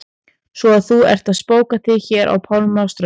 Svo að þú ert að spóka þig hér á pálmanna strönd!